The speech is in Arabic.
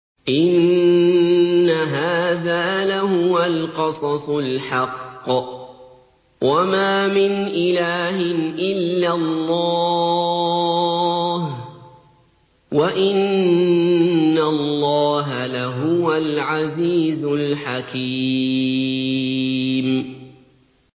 إِنَّ هَٰذَا لَهُوَ الْقَصَصُ الْحَقُّ ۚ وَمَا مِنْ إِلَٰهٍ إِلَّا اللَّهُ ۚ وَإِنَّ اللَّهَ لَهُوَ الْعَزِيزُ الْحَكِيمُ